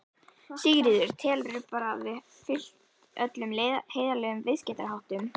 Sigríður: Telurðu bara að þið hafið fylgt öllum heiðarlegum viðskiptaháttum?